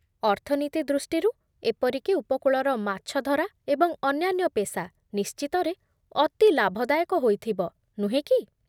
ଅର୍ଥନୀତି ଦୃଷ୍ଟିରୁ, ଏପରିକି ଉପକୂଳର ମାଛଧରା ଏବଂ ଅନ୍ୟାନ୍ୟ ପେସା ନିଶ୍ଚିତରେ ଅତି ଲାଭଦାୟକ ହୋଇଥିବ, ନୁହେଁ କି?